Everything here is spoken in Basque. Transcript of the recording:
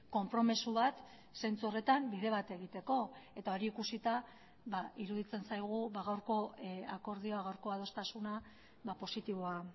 konpromiso bat zentsu horretan bide bat egiteko eta hori ikusita iruditzen zaigu gaurko akordioa gaurko adostasuna positiboa